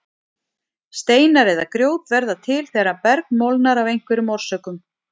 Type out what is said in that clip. Steinar eða grjót verða til þegar berg molnar af einhverjum orsökum.